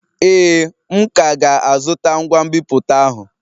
Ee, m ka ga-azụta ngwa nbipute ahụ